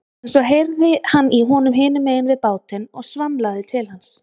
En svo heyrði hann í honum hinum megin við bátinn og svamlaði til hans.